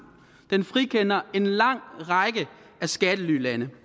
den frikender en lang række af skattelylande